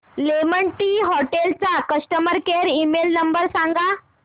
lemon Tree Hotels चा customer care email number सांगा